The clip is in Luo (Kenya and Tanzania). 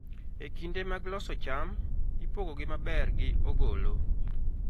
E kinde mag loso cham, ipogogi maber gi ogolo.